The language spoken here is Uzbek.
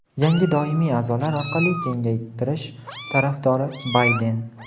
yangi doimiy aʼzolar orqali kengaytirish tarafdori – Bayden.